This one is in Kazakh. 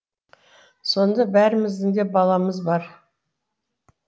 сонда бәріміздің де баламыз бар